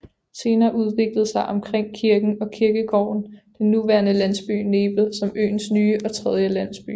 Senere udviklede sig omkring kirken og kirkegården den nuværende landsby Nebel som øens nye og tredje landsby